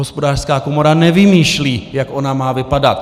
Hospodářská komora nevymýšlí, jak ona má vypadat.